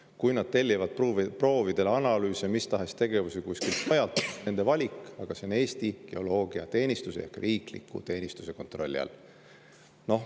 Kui nad tellivad proovide analüüse või mistahes tegevusi kuskilt mujalt, siis on see nende valik, aga see on Eesti Geoloogiateenistuse ehk riikliku teenistuse kontrolli all.